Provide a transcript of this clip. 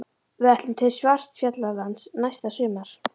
Við ætlum til Svartfjallalands næsta sumar.